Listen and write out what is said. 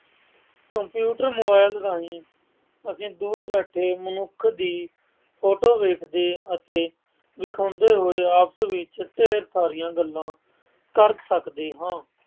computer mobile ਰਾਹੀਂ ਅਸੀਂ ਦੂਰ ਬੈਠੇ ਮਨੁੱਖ ਦੀ photo ਦੇਖਦੇ ਜਾਂ ਦਿਖਾਉਂਦੇ ਹੋਏ ਆਪਸ ਵਿੱਚ ਢੇਰ ਸਾਰੀਆਂ ਗੱਲਾਂ ਕਰ ਸਕਦੇ ਹਾਂ